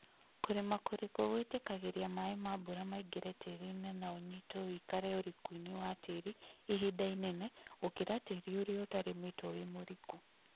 Kũrĩma kũriku gwĩtĩkagĩria maĩ ma mbura maingĩre tĩĩrinĩ na ũnyitwo wĩikare ũrikuinĩ wa tĩĩri ihinda inene gũkĩra tĩĩrini ũrĩa ũtarĩmĩtwo wĩ mũriku